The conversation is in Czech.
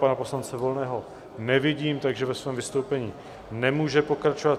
Pana poslance Volného nevidím, takže ve svém vystoupení nemůže pokračovat.